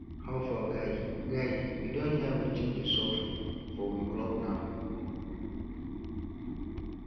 how far guy guy you don hear wetin dey sup for we club na